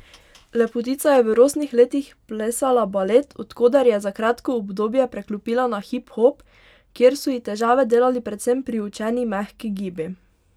Lepotica je v rosnih letih plesala balet, od koder je za kratko obdobje preklopila na hip hop, kjer so ji težave delali predvsem priučeni mehki gibi.